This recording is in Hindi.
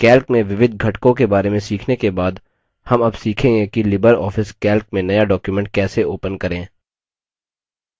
calc में विविध घटकों के बारे में सीखने के बाद हम अब सीखेंगे कि लिबर ऑफिस calc में नया document कैसे open करें